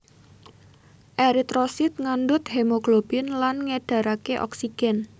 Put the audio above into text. Eritrosit ngandhut hemoglobin lan ngédharaké oksigen